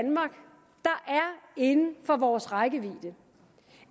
inden for vores rækkevidde